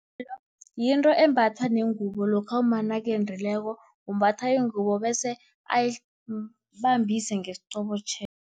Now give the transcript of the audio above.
Yinto embatha nengubo lokha umma nakendileko, umbatha ingubo bese ayibambise ngesiqobotjhelo.